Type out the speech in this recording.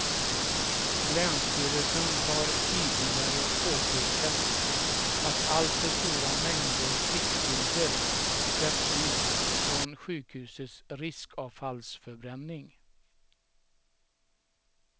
Länsstyrelsen har tidigare påpekat att alltför stora mängder kvicksilver släpps ut från sjukhusets riskavfallsförbränning.